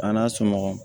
A n'a sɔmɔgɔ